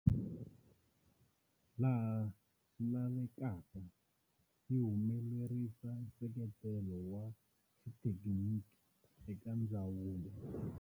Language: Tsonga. Laha swi lavekaka, yi humelerisa nseketelo wa xithekiniki eka ndzawulo.